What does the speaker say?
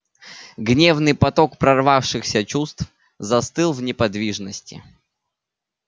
гневный поток прорвавшихся чувств застыл в неподвижности